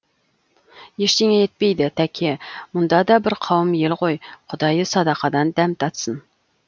ештеңе етпейді тәке мұнда да бір қауым ел ғой құдайы садақадан дәм татсын